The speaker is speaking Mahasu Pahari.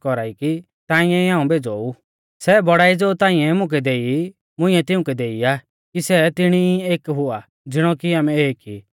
सै बौड़ाई ज़ो ताइंऐ मुकै देई मुंइऐ तिउंकै देई आ कि सै तिणी ई एक हुआ ज़िणौ की आमै एक ई